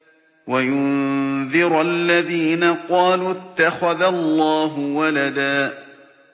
وَيُنذِرَ الَّذِينَ قَالُوا اتَّخَذَ اللَّهُ وَلَدًا